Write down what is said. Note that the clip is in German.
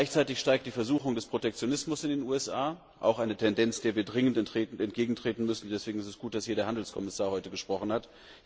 Gleichzeitig steigt die Versuchung des Protektionismus in den USA auch eine Tendenz, der wir dringend entgegentreten müssen, und deswegen ist es gut, dass hier heute der Handelskommissar gesprochen hat.